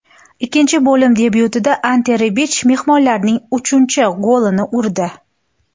Ikkinchi bo‘lim debyutida Ante Rebich mehmonlarning uchinchin golini urdi.